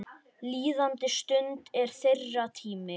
Líðandi stund er þeirra tími.